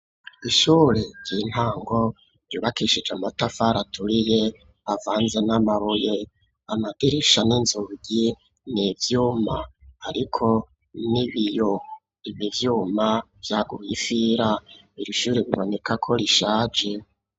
Ishure ry'intango ryubakishije amatafara aturiye avanze n'amabuye amadirisha n'inzugi ni ivyuma, ariko nibiyo ibi vyuma vyaguwifira birishure biboneka ko rishaje.